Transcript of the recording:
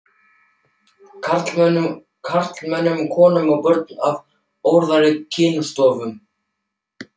karlmönnum, konum og börnum af óæðri kynstofnum.